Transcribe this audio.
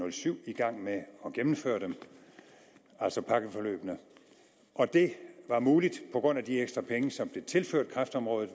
og syv i gang med at gennemføre dem altså pakkeforløbene og det var muligt på grund af de ekstra penge som blev tilført kræftområdet